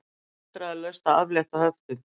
Vandræðalaust að aflétta höftum